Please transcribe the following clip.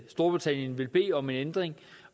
storbritannien vil bede om en ændring